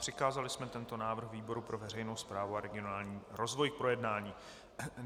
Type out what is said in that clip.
Přikázali jsme tento návrh výboru pro veřejnou správu a regionální rozvoj k projednání.